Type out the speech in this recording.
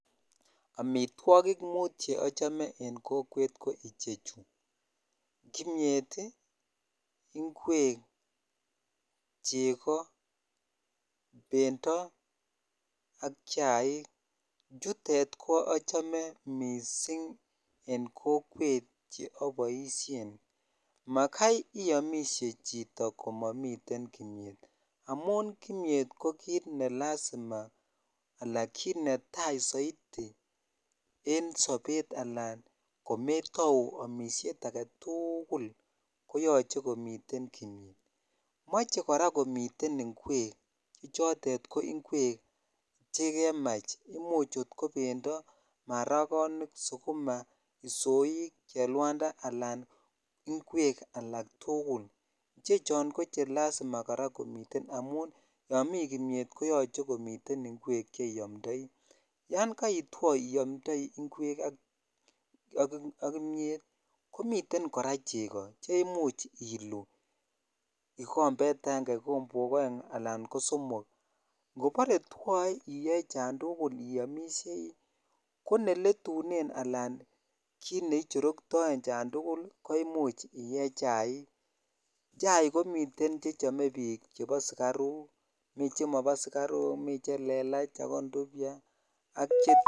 Amitwogik muut Che achome en kokwet ko ichechu kimiet, ngwek, chego, bendo ak chaik chutet ko achame mising en kokwet Che aboisien makai iomisie chito ko mamiten kimiet amun kimiet ko kit ne lazima anan kit netai soiti en sobet Alan ko kometou amisiet age tugul koyoche komiten kimiet moche kora komiten ngwek Che choton ko ngwek Che kemach Imuch ko bendo, maragonik, sukuma, isoik, chelwanda anan ngwek alak tugul ichechon ko Che lazima kora komiten amun yon mi kimiet koyoche komiten ngwek Che iamdoi yon iamdoi ngwek ak kimiet komiten kora chego Che Imuch iluu kikombet agenge, kikombok aeng anan ko somok ingobore twoe iyoe chon tugul iamisiei ko neletunen anan kit ne ichortoen chon tugul ko Imuch iye chaik, chaik komiten Che chome bik chebo sukaruk mi chemobo sukaruk miten Che lelach ago nduvya